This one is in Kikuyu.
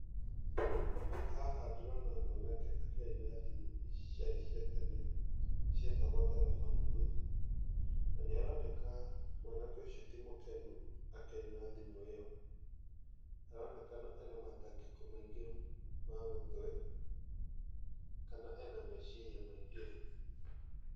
Haha ndĩrona mwanake akĩaria na thimũ ici ciarĩ cia tene, cietagwo telephone booth, na nĩaroneka mwanake ũcio ti mũkenu akĩaria na thimũ ĩyo. Aronekana ena matangĩko maingĩ ma mũtwe , kana ena meciria maingĩ.